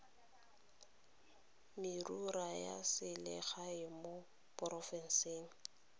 merero ya selegae mo porofenseng